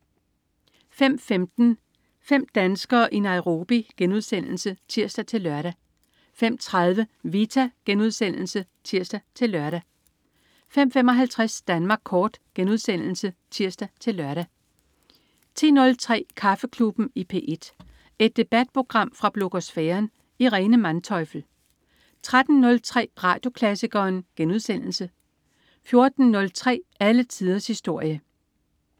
05.15 Fem danskere i Nairobi* (tirs-lør) 05.30 Vita* (tirs-lør) 05.55 Danmark kort* (tirs-lør) 10.03 Kaffeklubben i P1. Et debatprogram fra blogosfæren. Irene Manteufel 13.03 Radioklassikeren* 14.03 Alle tiders historie